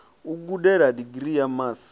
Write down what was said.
u gudela digirii ya masi